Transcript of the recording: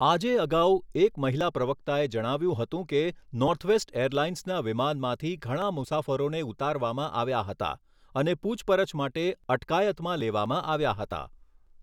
આજે અગાઉ, એક મહિલા પ્રવક્તાએ જણાવ્યું હતું કે નોર્થવેસ્ટ એરલાઇન્સના વિમાનમાંથી ઘણા મુસાફરોને ઉતારવામાં આવ્યા હતા અને પૂછપરછ માટે અટકાયતમાં લેવામાં આવ્યા હતા.